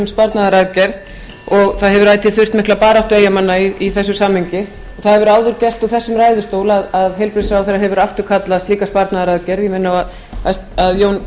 sparnaðaraðgerð og það hefur ætíð þurft mikla baráttu eyjamanna í þessum samningi það hefur áður gerst í þessum ræðustól að heilbrigðisráðherra hefur afturkallað slíka sparnaðaraðgerð ég minni á að jón